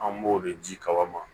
An b'o de ji kaba